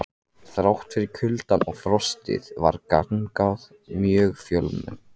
Þrátt fyrir kuldann og frostið var gangan mjög fjölmenn.